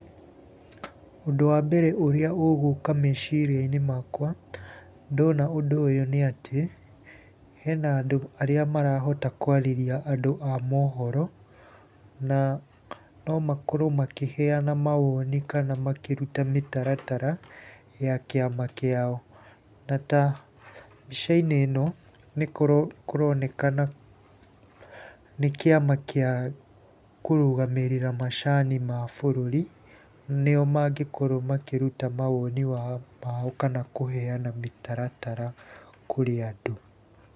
Ũndũ wa mbere ũrĩa ũgũka meciria-inĩ makwa, ndona ũndũ ũyũ nĩ atĩ, hena andũ arĩa marahota kwarĩria andũ a mohoro, na no makorwo makĩheana mawoni kana makĩruta mĩtaratara, ya kĩama kĩao. Na ta mbica-inĩ ĩno nĩkũronekana nĩ kĩama kĩa kũrũgamĩrĩra macani ma bũrũri nĩo mangĩkorwo makĩruta mawoni mao kana kũheana mĩtaratara kũrĩ andũ.